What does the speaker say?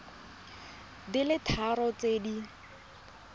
di le tharo tse di